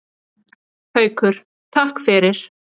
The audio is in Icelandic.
Haukur: Takk fyrir.